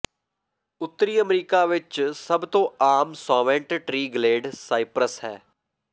ਉੱਤਰੀ ਅਮਰੀਕਾ ਵਿਚ ਸਭ ਤੋਂ ਆਮ ਸੌਵੈਂਟ ਟ੍ਰੀ ਗਲੇਡ ਸਾਈਪ੍ਰਸ ਹੈ